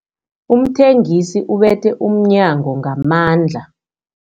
Umthengisi ubethe umnyango ngamandla.